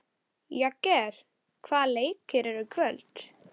Jagger, hvaða leikir eru í kvöld?